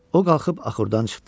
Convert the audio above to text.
O qalxıb axurdan çıxdı.